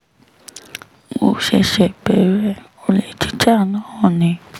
mo ṣẹ̀ṣẹ̀ bẹ̀rẹ̀ olè jíjà náà ni